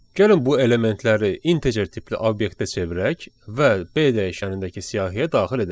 Gəlin bu elementləri integer tipli obyektə çevirək və B dəyişənindəki siyahıya daxil edək.